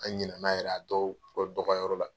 An ɲina na yɛrɛ a dɔw dɔgɔyar'o la.